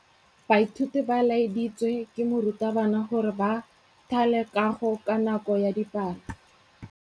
Baithuti ba laeditswe ke morutabana gore ba thale kagô ka nako ya dipalô.